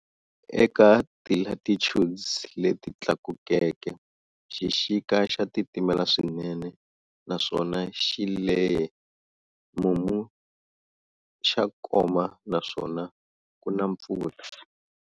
Eka ti latitudes leti tlakukeke, xixika xa titimela swinene naswona xi lehe, ximumu xa koma naswona ku na mpfula.